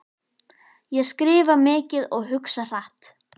Ég skrifa mikið og hugsa hratt.